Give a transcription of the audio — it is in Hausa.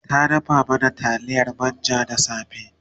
ta dafa mana taliyar manja da safe